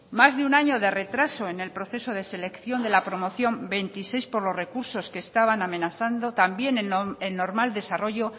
más de un año de retraso en el proceso de selección de la promoción veintiséis por los recursos que estaban amenazando también el normal desarrollo